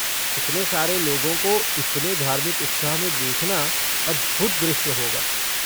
इतने सारे लोगों को इतने धार्मिक उत्साह में देखना अद्भुत दृश्य होगा।